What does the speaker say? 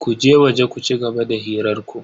Ku je waje ku cigaba da hirar ku.